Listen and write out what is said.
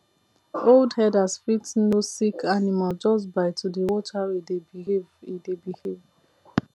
old herders fit know sick animal just by to dey watch how e dey behave e dey behave